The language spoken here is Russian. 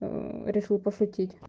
решил пошутить